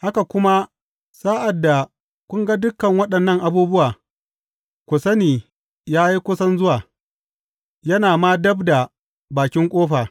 Haka kuma, sa’ad da kun ga dukan waɗannan abubuwa, ku sani ya yi kusan zuwa, yana ma dab da bakin ƙofa.